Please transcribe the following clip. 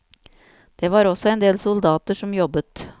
Det var også en del soldater som jobbet.